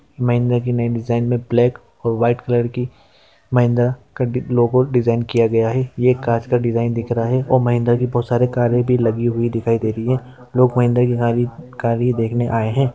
महिंद्रा की नई डिजाइन में ब्लैक और वाइट कलर की महिंद्रा का ड--लोगो डिजाइन किया गया है यह कांच का डिजाइन दिख रहा है और महिंद्रा की बहुत सारे कारें भी लगी हुई दिखाई दे रही है लोग महिंद्रा की गाड़ी गाड़ी देखने आए हैं ।